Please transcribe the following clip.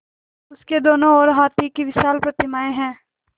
उसके दोनों ओर हाथी की विशाल प्रतिमाएँ हैं